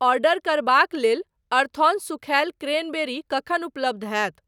Order करबाक लेल अर्थऑन सूखायल क्रैनबेरी कखन उपलब्ध हैत।